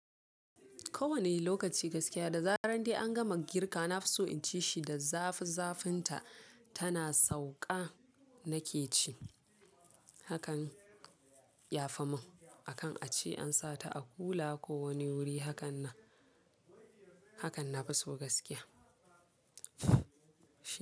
Kowane lokaci gaskiya da zarar dai an gama girka na fi so in ci shi da zafi zafinta tana sauka nake ci hakan ya fi mun akan a ci an sa ta a kula ko wani wuri hakan na, hakan na fi so gaskiya.